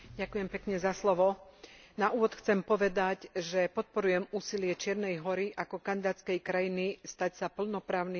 Na úvod chcem povedať, že podporujem úsilie Čiernej Hory ako kandidátskej krajiny stať sa plnoprávnym členom Európskej únie.